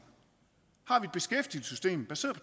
har vi et beskæftigelsessystem baseret